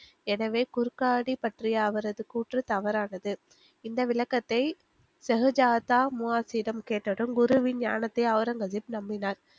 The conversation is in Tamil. எனவே குருக்காடி பற்றிய அவரது கூற்று தவறானது, இந்த விளக்கத்தை ஷகுதாஜ்தா முவாசிடம் கேட்டதும் குருவின் ஞானத்தை ஒளரங்கசீப் நம்பினார்